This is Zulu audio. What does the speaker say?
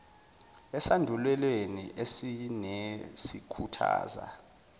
esandulelweni sesine sikhuthaza